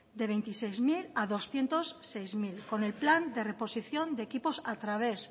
de veintiséis mil a doscientos seis mil con el plan de reposición de equipos a través